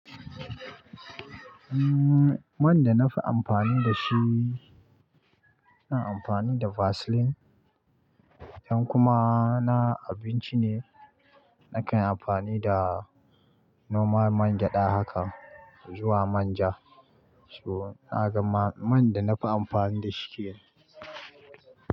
Umm, man da na fi amfani da shi, ina amfani da Vaseline. Idan kuma na abinci ne, nakan amfani da normal man gyada haka zuwa manja. So na gama man da na fi amfani da shi kenan.